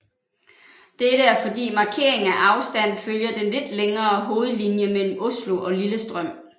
Dette er fordi markeringen af afstand følger den lidt længere hovedlinje mellem Oslo og Lillestrøm